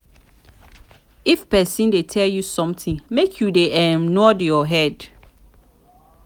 if person dey tell you something make you dey um nod your head.